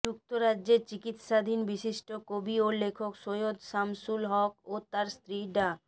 যুক্তরাজ্যে চিকিৎসাধীন বিশিষ্ট কবি ও লেখক সৈয়দ শামসুল হক ও তাঁর স্ত্রী ডা